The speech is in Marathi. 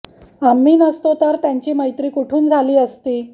आम्ही नसतो तर त्यांची मैत्री कुठून झाली असती